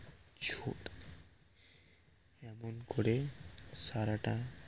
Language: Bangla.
এমন করে সারাটা